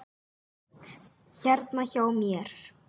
Hérna hjá mér.